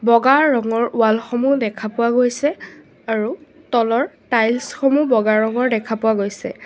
বগা ৰঙৰ ৱালসমূহ দেখা পোৱা গৈছে আৰু তলৰ টাইলছ সমূহ বগা ৰঙৰ দেখা পোৱা গৈছে।